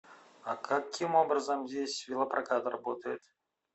а каким образом здесь велопрокат работает